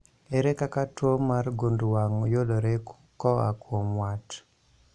Ere kaka tuo mar gund wang' yudore koa kuom wat?